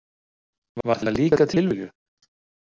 Var það líka tilviljun?